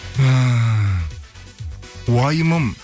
ііі уайымым